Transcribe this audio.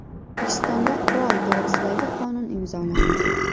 O‘zbekistonda Qurol to‘g‘risidagi qonun imzolandi.